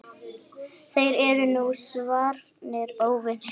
Þeir eru nú svarnir óvinir.